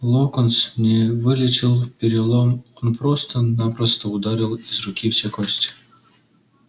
локонс не вылечил перелом он просто-напросто удалил из руки все кости